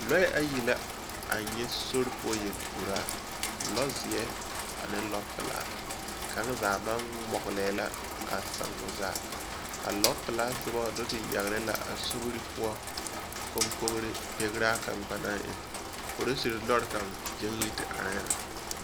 Lɔɛ ayi la, a nyɛ sori poɔ yel-uraa. Lɔzeɛ ane lɔpelaa. Kaŋ zaa maŋ ŋmɔgelɛɛ la a sãã o zaa. A lɔpelaa sobɔ do te yagere la a sobiri poɔ koŋkogiri begeraa kaŋ ba naŋ eŋ. Porosir lɔɔr kaŋ do te gyaŋ yi te arɛɛ la.